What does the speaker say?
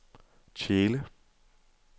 Tjele